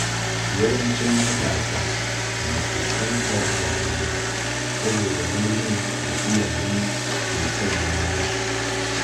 Yawancin matasa na fuskantar damuwa saboda nauyin da iyaye ke sanya musu.